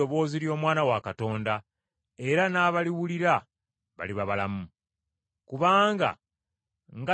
Ddala ddala mbagamba nti, Ekiseera kijja, era kituuse, abafu lwe baliwulira eddoboozi ly’Omwana wa Katonda, era n’abaliwulira baliba balamu.